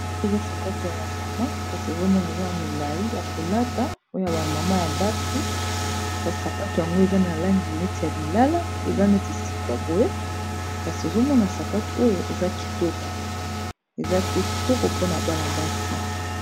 Oyo eza sapato ya ba mama kasi ezomona eza ya milayi ya kolata oyo ba mama ya basi kasi sapato yango eza na langi neti ya lilala eza neti sika boye kasi ozomona sapato oyo eza pe kitoko mpona bana basi.